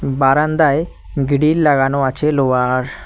বারান্দায় গিরিল লাগানো আছে লোহার।